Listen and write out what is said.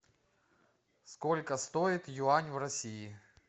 сколько стоит юань в россии